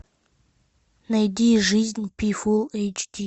найди жизнь пи фулл эйч ди